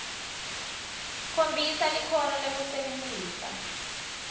khombisa likhono lekusebentisa